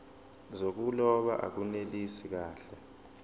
zokuloba akunelisi kahle